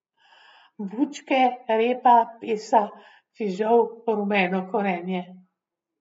Bučke, repa, pesa, fižol, rumeno korenje ...